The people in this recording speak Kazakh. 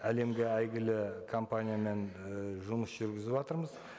әлемге әйгілі компаниямен і жұмыс жүргізіватырмыз